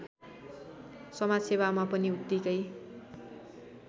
समाजसेवामा पनि उत्तिकै